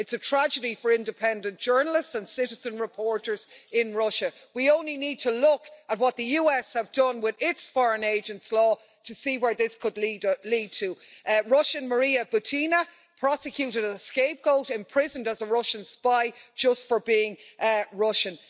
It's a tragedy for independent journalists and citizen reporters in Russia. We only need to look at what the US have done with its foreign agent' law to see where this could lead to Russian Maria Butina, prosecuted as a scapegoat, imprisoned as a Russian spy just for being Russian.